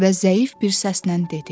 Və zəif bir səslə dedi: